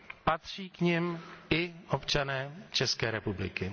Patří k nim i občané České republiky.